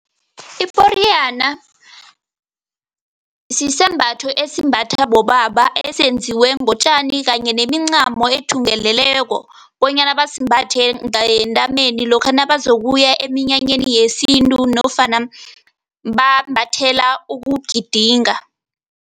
Iporiyana sisembatho esimbathwa bobaba esenziwe ngotjani kanye nemincamo ethungeleleko bonyana basimbathe ngentameni lokha nabazokuya eminyanyeni yesintu nofana bambathela ukugidinga.